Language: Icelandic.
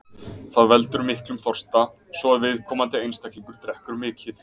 Það veldur miklum þorsta, svo að viðkomandi einstaklingur drekkur mikið.